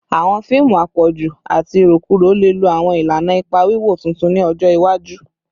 Awọn fiimu apọju ati irokuro le lo awọn ilana ipa wiwo tuntun ni ọjọ iwaju